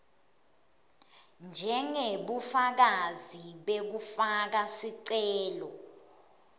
njengebufakazi bekufaka sicelo